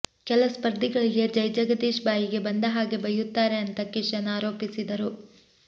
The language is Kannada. ಕೆಲ ಸ್ಪರ್ಧಿಗಳಿಗೆ ಜೈಜಗದೀಶ್ ಬಾಯಿಗೆ ಬಂದ ಹಾಗೆ ಬೈಯುತ್ತಾರೆ ಅಂತ ಕಿಶನ್ ಆರೋಪಿಸಿದರು